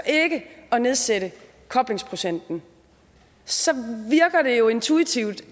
at nedsætte koblingsprocenten så virker det jo intuitivt